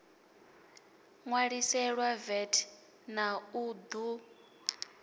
ṋwaliselwa vat na u ṱu